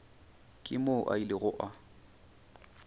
ke moo a ilego a